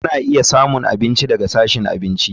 Kuna iya samun abinci daga sashin abinci.